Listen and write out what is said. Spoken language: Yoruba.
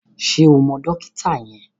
Ṣé o mọ dókítà yẹn?